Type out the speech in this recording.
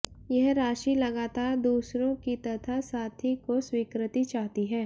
यह राशि लगातार दूसरों की तथा साथी को स्वीकृति चाहती है